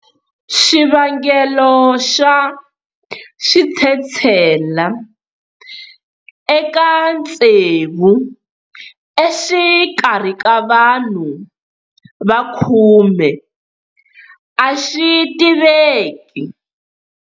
Xivangelo xa switshetshela eka tsevu exikarhi ka vanhu va khume a xi tiveki.